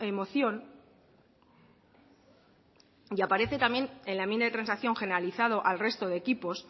moción y aparece también en la enmienda de transacción generalizado al resto de equipos